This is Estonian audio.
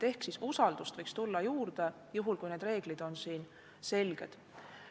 Ehk usaldust võiks tulla juurde, juhul kui reeglid on selged.